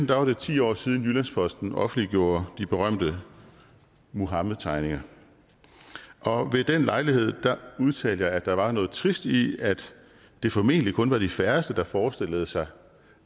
var det ti år siden jyllands posten offentliggjorde de berømte muhammed tegninger og ved den lejlighed udtalte jeg at der var noget trist i at det formentlig kun var de færreste der forestillede sig